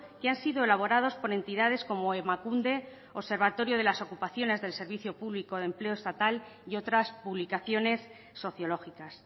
que han sido elaborados por entidades como emakunde observatorio de las ocupaciones del servicio público de empleo estatal y otras publicaciones sociológicas